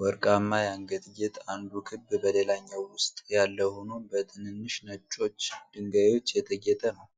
ወርቃማ የአንገት ጌጥ፣ አንዱ ክብ በሌላኛው ውስጥ ያለ ሆኖ በትንንሽ ነጮች ድንጋዮች የተጌጠ ነው።